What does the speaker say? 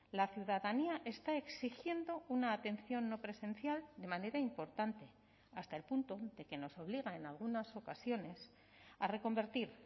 la ciudadanía está exigiendo una atención no presencial de manera importante hasta el punto de que nos obliga en algunas ocasiones a reconvertir